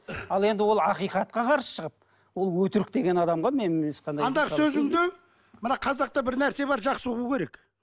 ал енді ол ақиқатқа қарсы шығып ол өтірік деген адамға мен ешқандай андағы сөзіңді мына қазақта бір нәрсе бар жақсы ұғу керек